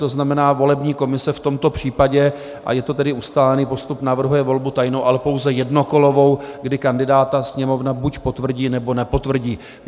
To znamená, volební komise v tomto případě - a je to tedy ustálený postup - navrhuje volbu tajnou, ale pouze jednokolovou, kdy kandidáta Sněmovna buď potvrdí, nebo nepotvrdí.